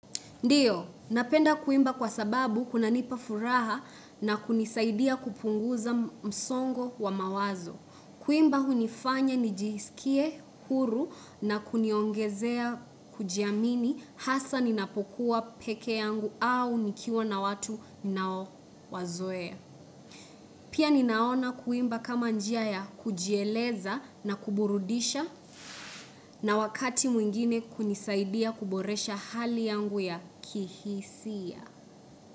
Ndio, napenda kuimba kwa sababu kunanipa furaha na kunisaidia kupunguza msongo wa mawazo. Kuimba hunifanya nijisikie huru na kuniongezea kujiamini hasa ninapokuwa peke yangu au nikiwa na watu ninaowazoea. Pia ninaona kuimba kama njia ya kujieleza na kuburudisha na wakati mwingine kunisaidia kuboresha hali yangu ya kihisia.